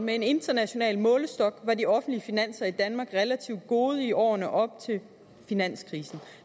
med en international målestok var de offentlige finanser i danmark relativt gode i årene op til finanskrisen